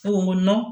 Ko nɔ